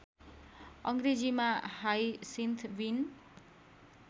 अङ्ग्रेजीमा हाइसिन्थ बिन